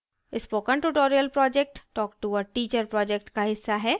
spoken tutorial project talk to a teacher project का हिस्सा है